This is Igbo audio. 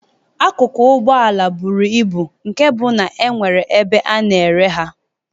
Akụkụ Ụgbọala buru ibu nke bụ na enwere ahịa ebe a na-ere ha.